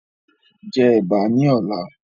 Jẹ ẹ̀bà ní ọ̀la